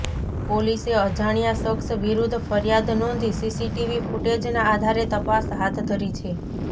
પોલીસે અજાણ્યા શખ્સ વિરુઘ્ધ ફરિયાદ નોંધી સીસીટીવી ફુટેજનાં આધારે તપાસ હાથધરી છે